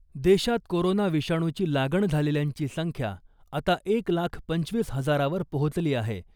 देशात कोरोना विषाणूची लागण झालेल्यांची संख्या आता एक लाख पंचवीस हजारावर पोहोचली आहे .